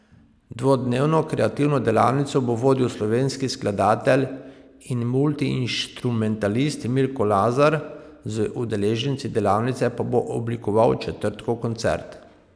Dvodnevno kreativno delavnico bo vodil slovenski skladatelj in multiinštrumentalist Milko Lazar, z udeleženci delavnice pa bo oblikoval četrtkov koncert.